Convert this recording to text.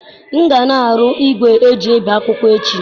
M ga na-arụ igwe eji ebi akwụkwọ echi.